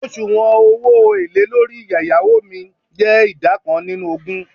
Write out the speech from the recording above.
osuwon owo ele lori eyawo mi je ida kan ninu ogun